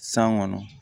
San kɔnɔ